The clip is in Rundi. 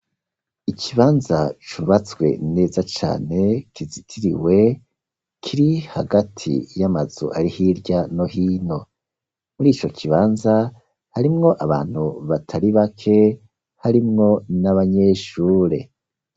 Ikibanza cubatswe neza cane kizitiriwe, kiri hagati y'amazu ari hirya no hino mur' ico kibanza harimwo abantu batari bake harimwo n'abanyeshure